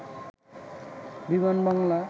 বিমানবালা